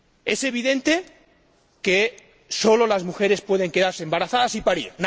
Es evidente que solo las mujeres pueden quedarse embarazadas y parir.